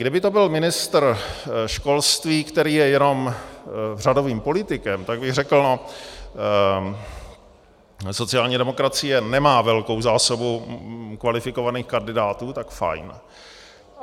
Kdyby to byl ministr školství, který je jenom řadovým politikem, tak bych řekl no, sociální demokracie nemá velkou zásobu kvalifikovaných kandidátů, tak fajn.